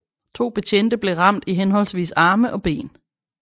To betjente blev ramt i henholdsvis arme og ben